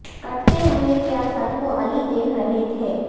کٹتے ہوئے کیا سر کو علی دیکھ رہے تھے